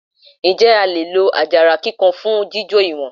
Ǹjẹ́ a lè lo àjàrà kíkan fún jíjò ìwọ̀n?